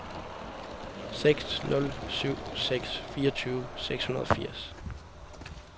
seks nul syv seks fireogtyve seks hundrede og firs